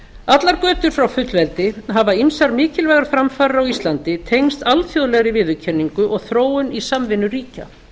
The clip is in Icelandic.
allar götur frá fullveldi hafa ýmsar mikilvægar framfarir á íslandi tengst alþjóðlegri viðurkenningu og þróun í samvinnu ríkja